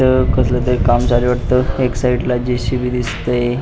व कसल तरी काम चालू आहे वाटत एक साइड ला जे.सी.बी दिसतय.